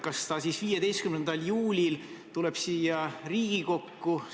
Kas see siis 15. juulil tuleb siia Riigikokku?